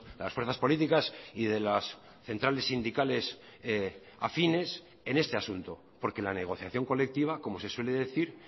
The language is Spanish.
las fuerzas políticas y de las centrales sindicales afines en este asunto porque la negociación colectiva como se suele decir